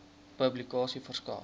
publikasie verskaf